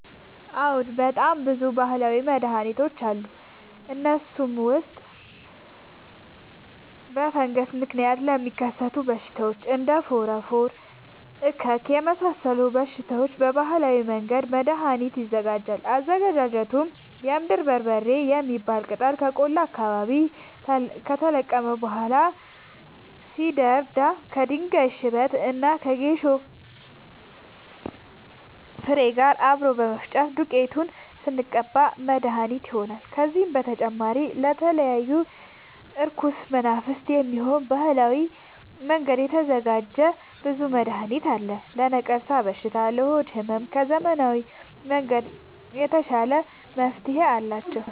አዎድ በጣም ብዙ በሀላዊ መድሀኒቶች አሉ ከእነሱም ውስጥ በፈንገስ ምክንያት ለሚከሰቱ በሽታዎች እንደ ፎረፎር እከክ የመሳሰሉ በሽታዎች በባህላዊ መንገድ መድሀኒት ይዘጋጃል አዘገጃጀቱም የምድር በርበሬ የሚባል ቅጠል ከቆላ አካባቢ ከተለቀመ በኋላ ሲደርዳ ከድንጋይ ሽበት እና ከጌሾ ፋሬ ጋር አብሮ በመፈጨት ዱቄቱን ስንቀባ መድሀኒት መድሀኒት ይሆነናል። ከዚህም በተጨማሪ ለተለያዩ እርኩስ መናፍት፣ የሚሆን በባህላዊ መንገድ የተዘጋጀ ብዙ መድሀኒት አለ። ለነቀርሻ በሽታ ለሆድ ህመም ከዘመናዊ መንገድ የተሻለ መፍትሄ አላቸው።